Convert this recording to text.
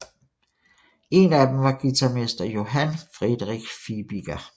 En af dem var guitarmester Johan Friedrich Fibiger